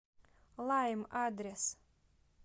лайм адрес